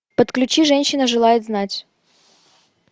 подключи женщина желает знать